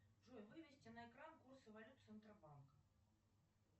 джои вынести на экран курсы валют центробанка